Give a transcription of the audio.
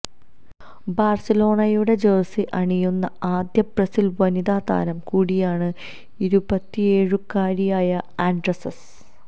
ബാഴ്സലോണയുടെ ജഴ്സി അണിയുന്ന ആദ്യ ബ്രസീൽ വനിതാ താരം കൂടിയാണ് ഇരുപത്തിയേഴുകാരിയായ ആൻഡ്രെസ്സ